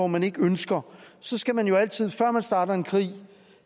man ikke ønsker skal man jo altid før man starter en krig